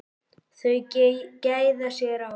Þau gæða sér á